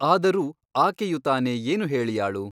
ಆದರೂ ಆಕೆಯು ತಾನೇ ಏನು ಹೇಳಿಯಾಳು?